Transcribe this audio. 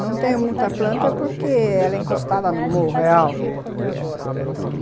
Não tenho muita planta porque ela é encostada no morro, é alto.